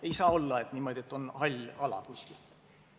Ei saa olla niimoodi, et on hall ala kuskil.